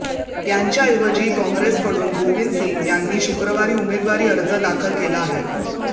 त्यांच्याऐवजी काँग्रेसकडून गोविंद सिंग यांनी शुक्रवारी उमेदवारी अर्ज दाखल केला आहे